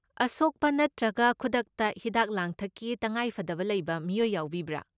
ꯑꯁꯣꯛꯄ ꯅꯠꯇ꯭ꯔꯒ ꯈꯨꯗꯛꯇ ꯍꯤꯗꯥꯛ ꯂꯥꯡꯊꯛꯀꯤ ꯇꯉꯥꯏꯐꯗꯕ ꯂꯩꯕ ꯃꯤꯑꯣꯏ ꯌꯥꯎꯕꯤꯕ꯭ꯔꯥ?